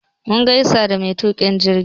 Mun gaisa da matuƙin jirgi